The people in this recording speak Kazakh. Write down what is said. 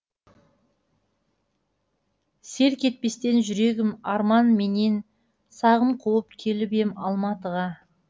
селк етпестен жүрегім арман менен сағым қуып келіп ем алматыға